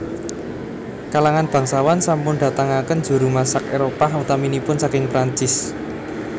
Kalangan bangsawan sampun datangaken juru masak Éropah utaminipun saking Perancis